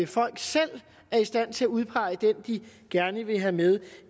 folk selv er i stand til at udpege den de gerne vil have med